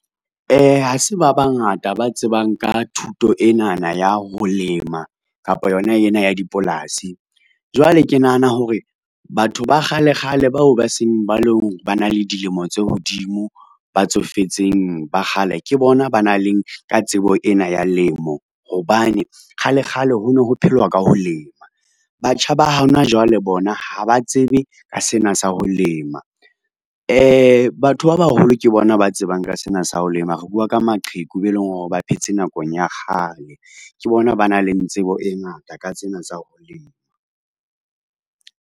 Ha se ba bangata ba tsebang ka thuto enana ya ho lema kapa yona ena ya dipolasi. Jwale ke nahana hore batho ba kgalekgale bao ba seng ba e long ba na le dilemo tse hodimo ba tsofetseng ba kgale ke bona, ba na le ka tsebo ena ya lemo, hobane kgale kgale ho no ho phelwa ka ho lema. Batjha ba hona jwale, bona ha ba tsebe ka sena sa ho lema, batho ba baholo ke bona ba tsebang ka sena sa ho lema, re bua ka maqheku be leng hore ba phetse nakong ya kgale, ke bona ba na le tsebo e ngata ka tsena tsa ho lema.